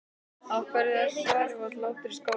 Af þessu svari varð nokkur hlátur í skálanum.